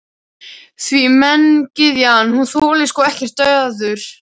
Því menntagyðjan, hún þolir sko ekkert daður.